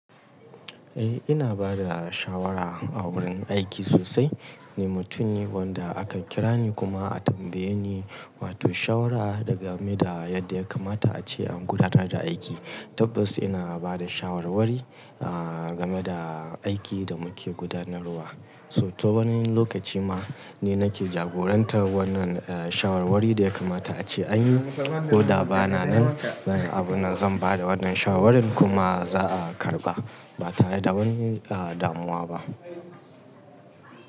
Eh ina bada shawara a wurin aiki sosai, ni mutum ne wanda akan kira ni kuma a tambaye ni wato shawara game da yadda ya kamata ace an gudanar da aiki. Tabbas ina bada shawarwari game da aikin da muke gudanarwa. So to wani lokaci ma ni nake jagoranta wannan shawarwari da ya kamata ace anyi ko da bana nan. Abun da zan bada wannan shawarin kuma za'a karɓa ba tare da wani damuwa ba.